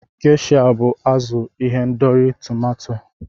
Gesha bụ azụ n'ihendori tomato.